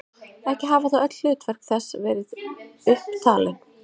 Ekki hafa þó öll hlutverk þess verið upp talin.